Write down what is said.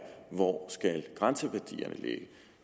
hvor grænseværdierne